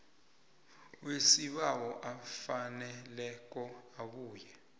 wesibawo afaneleko abuya